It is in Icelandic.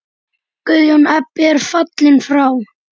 Guðjón Ebbi er fallinn frá.